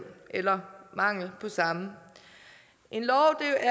eller mangel på samme en lov